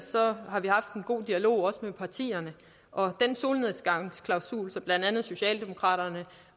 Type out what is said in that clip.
har vi haft en god dialog også med partierne og den solnedgangsklausul som blandt andet socialdemokraterne